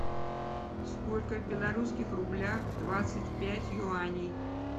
сколько в белорусских рублях двадцать пять юаней